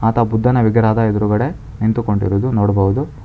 ಆತ ಬುದ್ಧನ ವಿಗ್ರಹದ ಎದುರುಗಡೆ ನಿಂತುಕೊಂಡಿರುವುದು ನೋಡಬಹುದು.